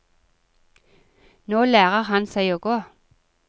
Nå lærer han seg å gå.